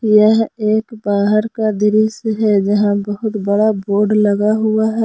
यह एक बाहर का दृश्य है जहां बहुत बड़ा बोर्ड लगा हुआ है।